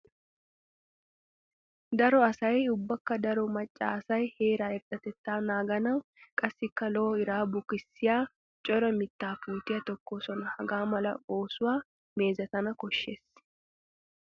Daro asay ubbakka daro maca asay heera irxxatetta naaganawu qassikka lo'o iraa bukkissiya cora mitta puutiya tokkosonna. Hagaa mala oosuwa meezetanna koshees.